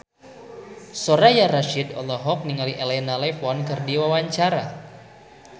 Soraya Rasyid olohok ningali Elena Levon keur diwawancara